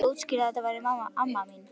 Einhver útskýrði að þetta væri amma mín.